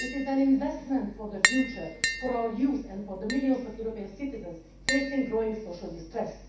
It is an investment for the future, for our youth and for the millions of European citizens facing growing social distress.